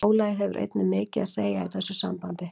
Álagið hefur einnig mikið að segja í þessu sambandi.